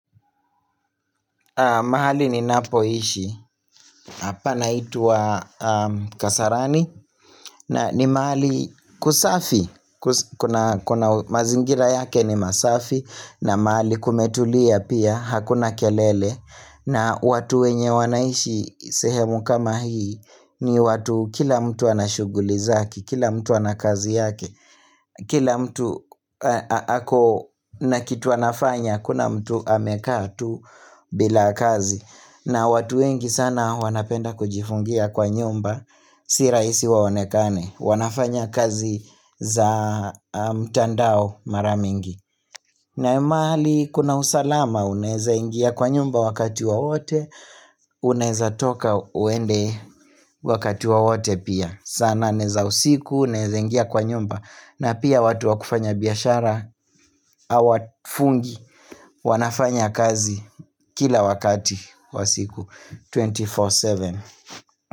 Mahali ni napoishi, hapa naitwa kasarani, na ni mahali kusafi, kuna mazingira yake ni masafi, na mahali kumetulia pia, hakuna kelele, na watu wenye wanaishi sehemu kama hii, ni watu kila mtu anashughuli zake, kila mtu anakazi yake, kila mtu ako na kitu anafanya, kuna mtu amekaa tu bila kazi. Na watu wengi sana wanapenda kujifungia kwa nyumba Si raisi waonekane wanafanya kazi za mtandao maramingi na mahali kuna usalama Uneza ingia kwa nyumba wakati wowote Unaweza toka uende wakati waote pia sana nane usiku, uneza ingia kwa nyumba na pia watu wakufanya biashara hawafungi, wanafanya kazi kila wakati kwa siku 24 7.